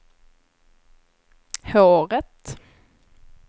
håret